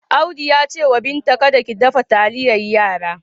Audu ya ce da Binta kada ki dafa taliyar yara.